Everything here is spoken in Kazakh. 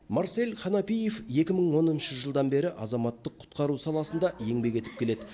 марсель ханафиев екі мың оныншы жылдан бері азаматтық құтқару саласында еңбек етіп келеді